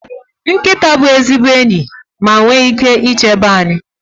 Nkịta bụ ezigbo enyi ma nwee ike ichebe anyị.